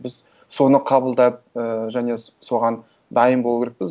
біз соны қабылдап і және соған дайын болу керекпіз